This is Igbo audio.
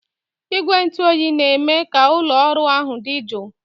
Igwe ntụ oyi na-eme ka ụlọ ọrụ ahụ dị jụụ